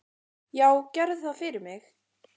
"""Já, gerðu það fyrir mig!"""